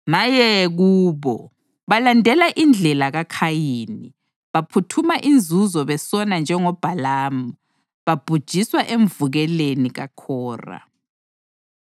Maye kubo! Balandela indlela kaKhayini; baphuthuma inzuzo besona njengoBhalamu; babhujiswa emvukeleni kaKhora.